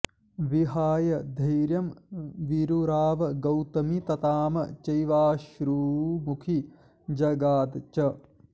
विहाय धैर्यं विरुराव गौतमी तताम चैवाश्रुमुखी जगाद च